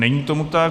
Není tomu tak.